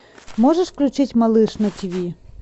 можешь включить малыш на тв